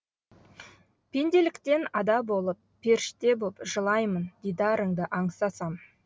пенделіктен ада болып періште боп жылаймын дидарыңды аңсасам